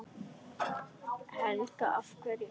Helga: Af hverju ekki?